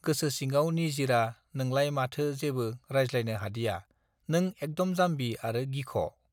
गोसो सिङाव निजिरा नोंलाइ माथो जेबो रायज्लायनो हादिया नों एकदम जाम्बि आरो गिख